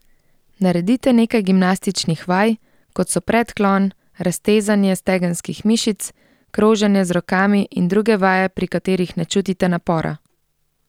Naredite nekaj gimnastičnih vaj, kot so predklon, raztezanje stegenskih mišic, kroženje z rokami in druge vaje, pri katerih ne čutite napora.